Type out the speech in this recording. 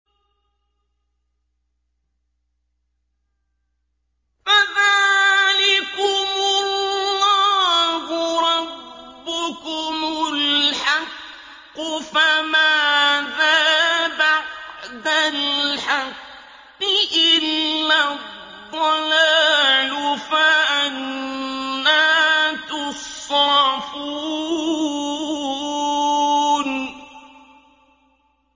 فَذَٰلِكُمُ اللَّهُ رَبُّكُمُ الْحَقُّ ۖ فَمَاذَا بَعْدَ الْحَقِّ إِلَّا الضَّلَالُ ۖ فَأَنَّىٰ تُصْرَفُونَ